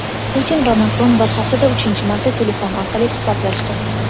Putin va Makron bir haftada uchinchi marta telefon orqali suhbatlashdi.